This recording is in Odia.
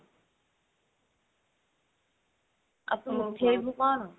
ଆଉ ତୁ ଉଠେଇବୁ କଣ